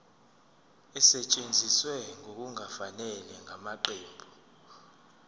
esetshenziswe ngokungafanele ngamaqembu